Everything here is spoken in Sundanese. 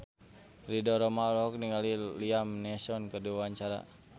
Ridho Roma olohok ningali Liam Neeson keur diwawancara